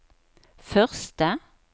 første